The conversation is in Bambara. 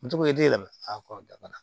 Moto den yɛlɛma dabana